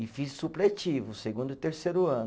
E fiz supletivo, segundo e terceiro ano.